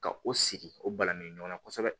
Ka o sigi o balani ɲɔgɔnna kosɛbɛ